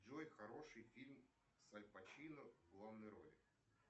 джой хороший фильм с аль пачино в главной роли